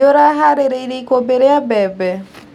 Nĩũraharĩirie ikũmbĩ ria mbembe.